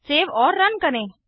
save और run करें